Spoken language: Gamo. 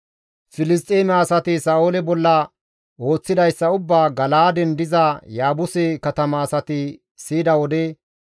Filisxeeme asati Sa7oole bolla ooththidayssa ubbaa Gala7aaden diza Yaabuse katama asati siyida wode,